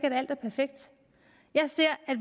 at alt var perfekt jeg ser at